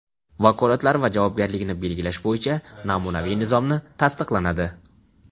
vakolatlari va javobgarligini belgilash bo‘yicha namunaviy nizomni tasdiqlanadi;.